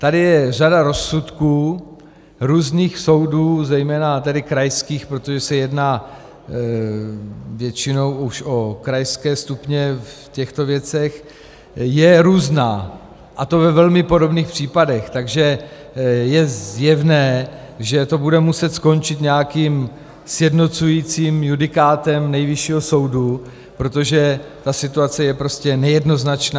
Tady je řada rozsudků různých soudů, zejména tedy krajských, protože se jedná většinou už o krajské stupně v těchto věcech, je různá, a to ve velmi podobných případech, takže je zjevné, že to bude muset skončit nějakým sjednocujícím judikátem Nejvyššího soudu, protože ta situace je prostě nejednoznačná.